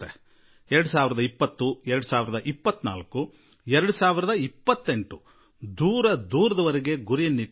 2020 2024 2028 ಇಲ್ಲಿಯತನಕ ಯೋಚಿಸುವಷ್ಠು ನಾವು ಯೋಜನೆ ರೂಪಿಸಬೇಕಾಗಿದೆ